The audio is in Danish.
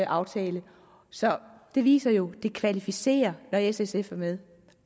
aftale så det viser jo at det kvalificerer når s og sf er med